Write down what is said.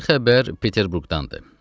Birinci xəbər Peterburqdandır.